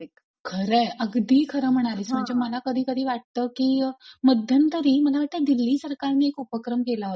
खरंय. अगदी खरं म्हणालीस मला कधीकधी वाटत की मध्यंतरी मला वाटत दिल्ली सरकारने एक उपक्रम केला होता.